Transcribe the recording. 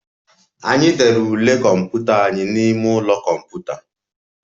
Anyị dere ule kọmputa anyị n'ime ụlọ kọmputa